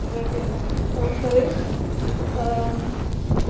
это во-первых а во-вторых